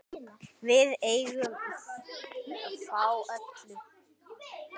Við eigum þá öll.